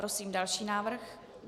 Prosím další návrh.